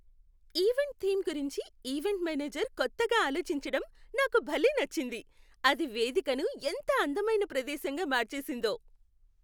Event theme గురించి event manager కొత్తగా ఆలోచించటం నాకు భలే నచ్చింది, అది వేదికను ఎంత అందమైన ప్రదేశంగా మార్చేసిందో.